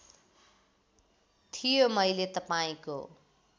थियो मैले तपाईँको